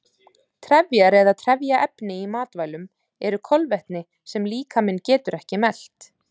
Trefjar eða trefjaefni í matvælum eru kolvetni sem líkaminn getur ekki melt.